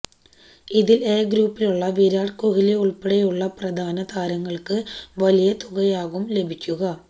ഇതിൽ എ ഗ്രൂപ്പിലുള്ള വിരാട് കോഹ്ലിഉൾപ്പെടെയുള്ള പ്രധാന താരങ്ങൾക്ക് വലിയ തുകയാകും ലഭിക്കുക